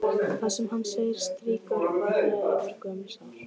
Það sem hann segir strýkur varlega yfir gömul sár.